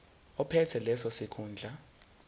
ophethe leso sikhundla